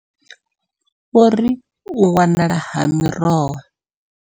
Vho ri, U wanala ha miroho.